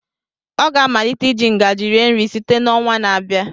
Ọ ga-amalite iji ngaji rie nri site n'ọnwa na-abịa.